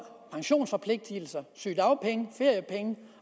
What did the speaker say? pensionsforpligtelser sygedagpenge feriepenge